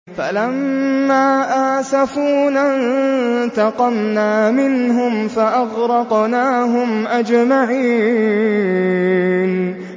فَلَمَّا آسَفُونَا انتَقَمْنَا مِنْهُمْ فَأَغْرَقْنَاهُمْ أَجْمَعِينَ